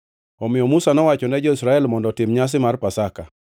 Omiyo Musa nowacho ne jo-Israel mondo otim nyasi mar Pasaka,